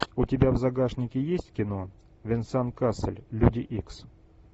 у тебя в загашнике есть кино венсан кассель люди икс